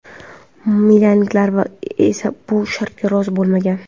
Milanliklar esa bu shartga rozi bo‘lmagan.